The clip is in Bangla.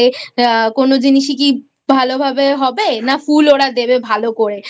কোনো জিনিসই কি ভালো ভাবে হবে? না ফুল ওরা দেবে ভালো করে